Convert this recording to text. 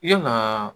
Yalaa